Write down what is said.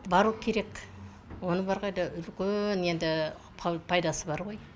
бару керек оның бар ғой да үлкен енді пайда пайдасы бар ғой